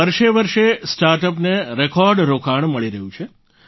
વર્ષે વર્ષે સ્ટાર્ટઅપને રેકોર્ડ રોકાણ મળી રહ્યું છે